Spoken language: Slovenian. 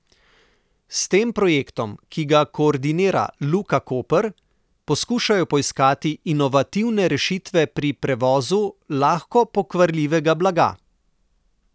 S tem projektom, ki ga koordinira Luka Koper, poskušajo poiskati inovativne rešitve pri prevozu lahko pokvarljivega blaga.